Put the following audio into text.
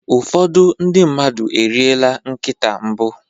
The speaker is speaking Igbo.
ụfọdụ ndị mmadụ eriela nkịta mbụ